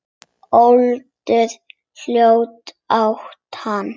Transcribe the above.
Öldruð hjón áttu hann.